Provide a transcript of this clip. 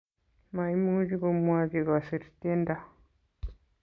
maimuch komwochi kuser tiendo